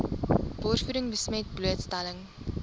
borsvoeding besmet blootstelling